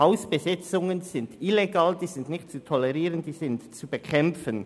Hausbesetzungen sind illegal und nicht zu tolerieren, sondern zu bekämpfen.